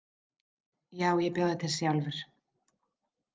Já, ég bjó þær til sjálfur.